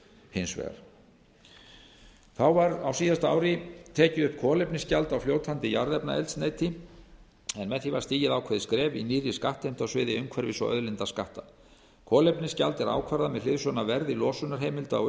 hins vegar þá var á síðasta ári tekið upp kolefnisgjald á fljótandi jarðefnaeldsneyti en með því var stigið ákveðið skref í nýrri skattheimtu á sviði umhverfis og auðlindaskatta kolefnisgjald er ákvarðað með hliðsjón af verði losunarheimilda á